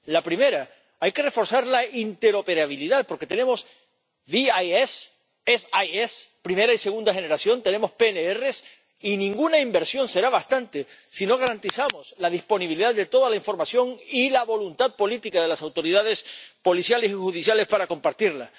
La primera hay que reforzar la interoperabilidad, porque tenemos el SIE, el SIS tenemos PNR y ninguna inversión será bastante si no garantizamos la disponibilidad de toda la información y la voluntad política de las autoridades policiales y judiciales para compartirla.